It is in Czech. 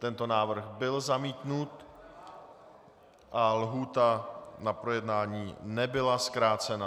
Tento návrh byl zamítnut a lhůta na projednání nebyla zkrácena.